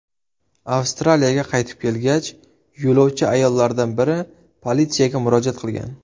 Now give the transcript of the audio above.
Avstraliyaga qaytib kelgach yo‘lovchi ayollardan biri politsiyaga murojaat qilgan.